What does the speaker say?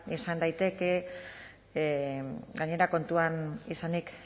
izan daiteke gainera kontuan izanik